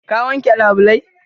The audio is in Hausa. Ka wanke labulai?